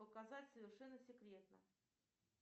показать совершенно секретно